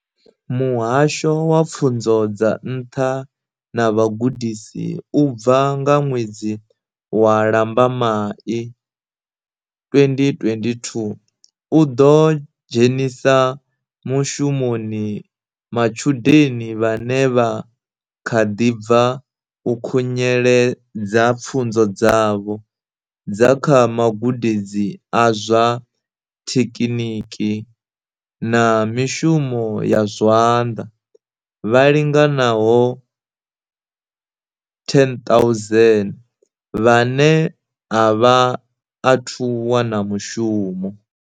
Muhasho wa Pfunzo dza Nṱha na Vhugudisi u bva nga ṅwedzi wa Lambamai 2022, u ḓo dzhenisa mushumoni ma tshudeni vhane vha kha ḓi bva u khunyeledza pfunzo dzavho dza kha magudedzi a zwa thekiniki na mishumo ya zwanḓa vha linganaho 10 000 vhane a vha athu wana mishumo.